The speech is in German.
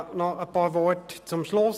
Noch einige Worte zum Schluss: